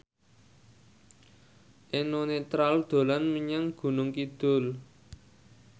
Eno Netral dolan menyang Gunung Kidul